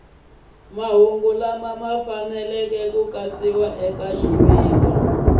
faneleke ku katsiwa eka swiviko